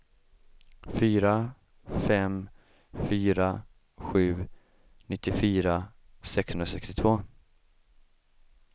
fyra fem fyra sju nittiofyra sexhundrasextiotvå